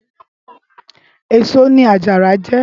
Ésó ni àjàrá jè